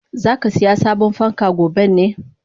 Zakasiya sabon fanka goben ne?